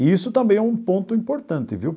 E isso também é um ponto importante, viu?